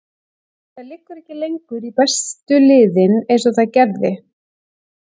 Þetta liggur ekki lengur í bestu liðin eins og það gerði.